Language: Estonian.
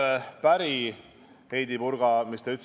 Ühe asjaga, mis te, Heidy Purga, ütlesite, ma ei ole päri.